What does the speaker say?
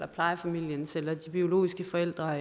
plejefamilien eller de biologiske forældre